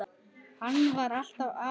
Hann var alltaf að.